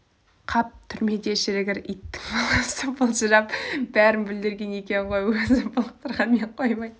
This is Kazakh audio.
қап түрмеде шірігір иттің баласы былжырап бәрін бүлдірген екен ғой өзі былыққанымен қоймай